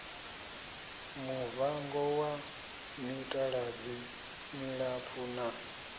muvango wa mitaladzi milapfu na